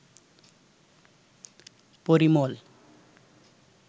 Parimal